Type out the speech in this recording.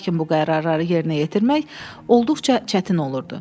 Lakin bu qərarları yerinə yetirmək olduqca çətin olurdu.